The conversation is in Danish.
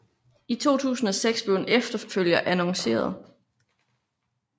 I 2006 blev en efterfølger annonceret